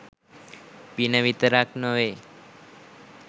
පින විතරක් නොවෙයි.